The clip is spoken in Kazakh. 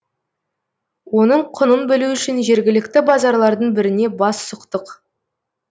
оның құнын білу үшін жергілікті базарлардың біріне бас сұқтық